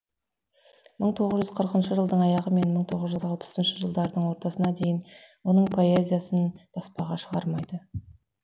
мың тоғыз жүз қырқыншы жылдың аяғы мен мың тоғыз жүз алпысыншы жылдардың ортасына дейін оның поэзиясын баспаға шығармайды